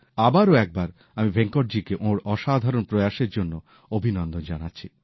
আবারও একবার আমি ভেঙ্কটজিকে ওঁর অসাধারণ প্রয়াসের জন্য অভিনন্দন জানাচ্ছি